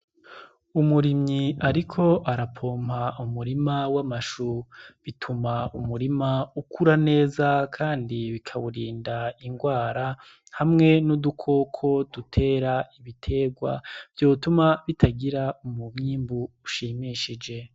Umurimyi ariko arapompa umurima w'amashu, bituma umurima ukura neza kandi bikawurinda ingwara hamwe n'udukoko dutera ibiterwa vyotuma umuwimbu ushimishije.